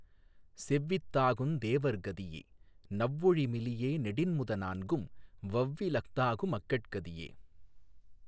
செவ்வி தாகுந் தேவர் கதியே னவ்வொழி மெலியே நெடின்முத னான்கும் வவ்வி லஃதாகு மக்கட் கதியே